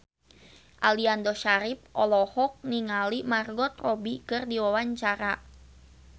Aliando Syarif olohok ningali Margot Robbie keur diwawancara